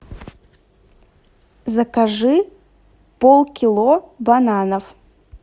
закажи пол кило бананов